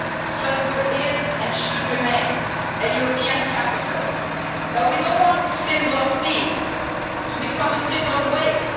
Strasbourg is and should remain a European capital, but we do not want a symbol of peace to become a symbol of waste.